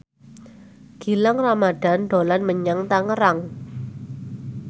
Gilang Ramadan dolan menyang Tangerang